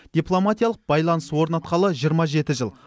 дипломатиялық байланыс орнатқалы жиырма жеті жыл